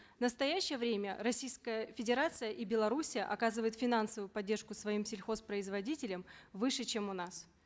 в настоящее время российская федерация и белоруссия оказывают финансовую поддержку совим сельхозпроизводителям выше чем у нас